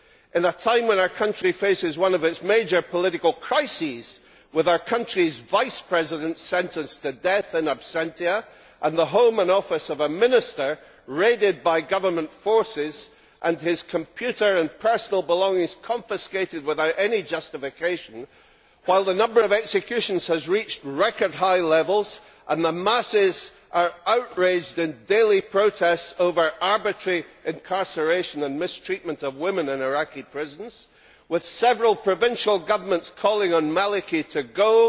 In a time when our country faces one of it major political crises, with our country's Vice President sentenced to death in absentia and the home and office of a Minister raided by government forces and his computer and personal belongings confiscated without any justification, while the number of executions has reached record high levels and the masses are outraged in daily protests over arbitrary incarceration and mistreatment of women in Iraqi prisons, with several provincial governments calling on Maliki to go,